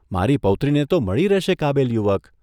મારી પૌત્રીને તો મળી રહેશે કાબિલ યુવક.